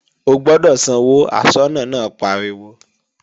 O gbọ́dọ̀ sanwó, aṣọ́nà náà pariwo!